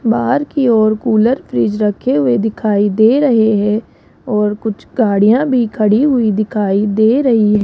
बाहर की ओर कूलर फ्रिज रखे हुए दिखाई दे रहे हैं और कुछ गाड़ियां भी खड़ी हुई दिखाई दे रही है।